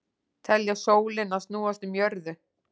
Telja sólina snúast um jörðu